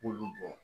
K'olu bɔn